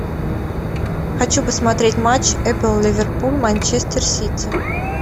хочу посмотреть матч апл ливерпуль манчестер сити